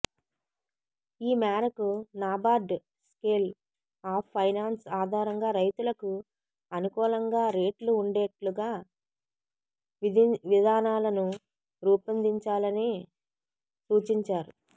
ఈ మేరకు NABARD scale of finance ఆధారంగా రైతులకు అనుకూలంగా రేట్లు వుండేట్లుగా విధివిధానాలను రూపొందించాలని సూచించారు